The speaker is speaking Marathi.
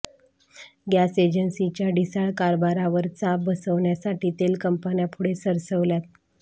गॅस एजन्सीच्या ढिसाळ कारभारावर चाप बसवण्यासाठी तेल कंपन्या पुढे सरसावल्यात